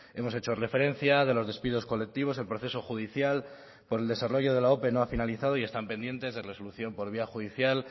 hemos hecho referencia de los despidos colectivos el proceso judicial por el desarrollo de la ope no ha finalizado y están pendientes de resolución por vía judicial